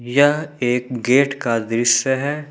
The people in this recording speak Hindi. यह एक गेट का दृश्य है।